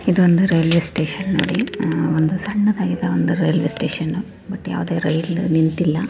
ಈದ್ ಒಂದ್ railway station ನೋಡಿ. ಅಹ್ ಒಂದು ಸಣ್ಣದಾಗಿದೆ ಒಂದು ರೈಲ್ವೆ ಸ್ಟೇಷನ್ . ಬಟ್ ಯಾವದೇ ರೈಲು ನಿಂತಿಲ್ಲಾ.